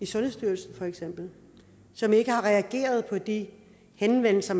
sundhedsstyrelsen som ikke reagerede på de henvendelser